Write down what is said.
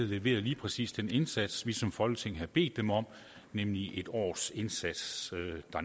leverede lige præcis den indsats dernede vi som folketing havde bedt dem om nemlig en års indsats